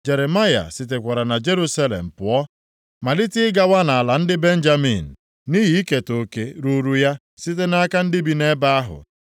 Jeremaya sitekwara na Jerusalem pụọ malite ịgawa nʼala ndị Benjamin, nʼihi iketa oke ruuru ya site nʼaka ndị bi nʼebe ahụ.